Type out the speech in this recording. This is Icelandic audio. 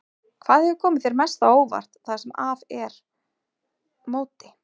Hvað hefur komið þér mest á óvart það sem af er móti?